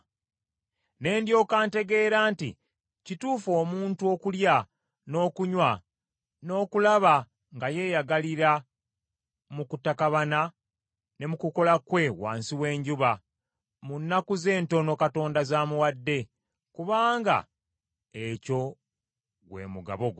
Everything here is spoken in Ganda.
Ne ndyoka ntegeera nti kituufu omuntu okulya n’okunywa n’okulaba nga yeyagalira mu kutakabana ne mu kukola kwe wansi w’enjuba, mu nnaku ze entono Katonda z’amuwadde, kubanga ekyo gwe mugabo gwe.